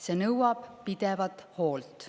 See nõuab pidevat hoolt.